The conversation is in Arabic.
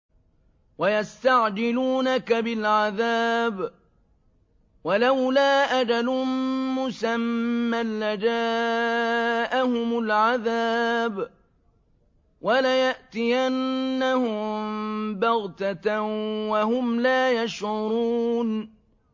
وَيَسْتَعْجِلُونَكَ بِالْعَذَابِ ۚ وَلَوْلَا أَجَلٌ مُّسَمًّى لَّجَاءَهُمُ الْعَذَابُ وَلَيَأْتِيَنَّهُم بَغْتَةً وَهُمْ لَا يَشْعُرُونَ